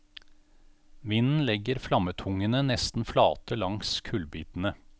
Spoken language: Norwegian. Vinden legger flammetungene nesten flate langs kullbitene.